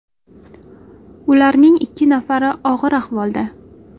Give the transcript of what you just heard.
Ularning ikki nafari og‘ir ahvolda.